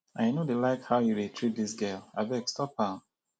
i no dey like how you dey treat dis girl abeg stop am